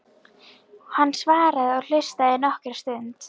Hann svaraði og hlustaði nokkra stund.